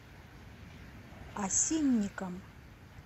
осинникам